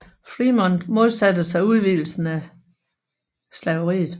Frémont modsatte sig udvidelsen af slaveriet